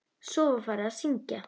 Svo var farið að syngja.